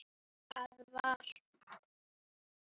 að vera.